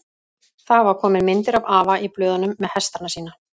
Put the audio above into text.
Það hafa komið myndir af afa í blöðunum með hestana sína.